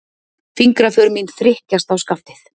Fingraför mín þrykkjast á skaftið.